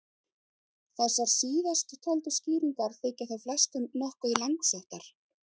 Þessar síðasttöldu skýringar þykja þó flestum nokkuð langsóttar.